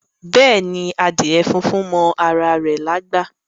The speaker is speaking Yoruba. Beeni, adíè fúnfún mọ ara rè lágbá.